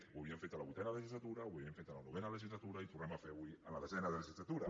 ho havíem fet a la vuitena legislatura ho havíem fet a la novena legislatura i ho tornem a fer avui en la desena legislatura